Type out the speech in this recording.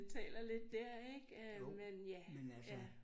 Taler lidt dér ikke øh men ja ja